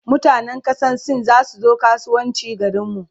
mutanan kasan sin zasu zo kasuwanci garinmu